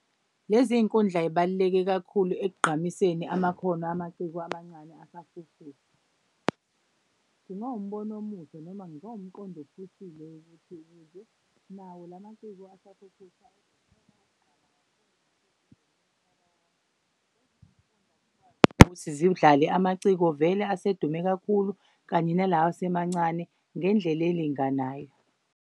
Lezi iy'kundla yibaluleke kakhulu ekugqamiseni amakhono amaciko amancane asafufusa. Kungawumbono omuhle noma kungawumqondo ophusile ukuthi ukuze nawo lamaciko asafufusa ukuthi zidlale amaciko vele asedume kakhulu kanye nalawa asemancane ngendlela elinganayo.